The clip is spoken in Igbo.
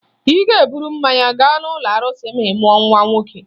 Ị ga-eburu mmanya gaa n'ụlọ arụsị ma ị mụọ nwa nwoke